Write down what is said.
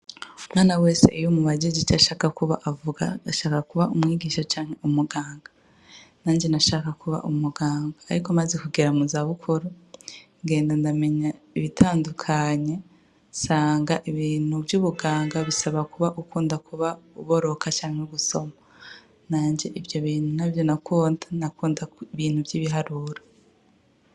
Umwana wese iyumubajije ico ashaka kuba avuga ko ashaka kuba mwarimu canke umuganga. Nanje bashaka kuba umuganga ariko maze kugera mu zanukuru ngenda ndamenya I itandukanye, nsanga ibintu vy'ubuganga bisaba kuba uboroka canka gusoma. Nanje ivyo bintu ntavyo nakunda, nakunda ibintu by'ibiharuro.